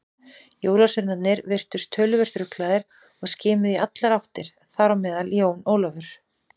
Jólasveinarnir virtust töluvert ruglaðir og skimuðu í allar áttir, þar á meðal Jón Ólafur.